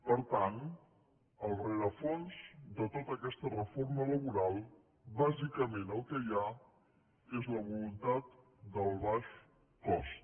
per tant al rerefons de tota aquesta reforma laboral bàsicament el que hi ha és la voluntat del baix cost